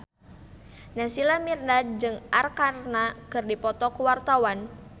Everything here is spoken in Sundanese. Naysila Mirdad jeung Arkarna keur dipoto ku wartawan